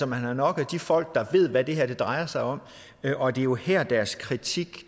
man har nok af de folk der ved hvad det her drejer sig om og det er jo her deres kritik